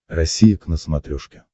россия к на смотрешке